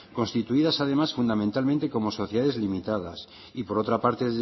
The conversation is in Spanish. constituidas además fundamentalmente como sociedades limitadas y por otra parte es